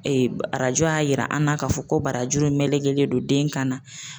Ee arajo y'a yira an na k'a fɔ ko barajuru melenkelen don den kan na.